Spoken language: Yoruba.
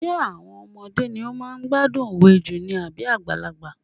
Ṣé àwọn ọmọdé ni wọ́n máa ń gbádùn òwe jù ni àbí àgbàlagbà?